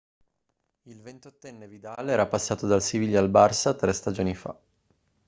il 28enne vidal era passato dal siviglia al barça tre stagioni fa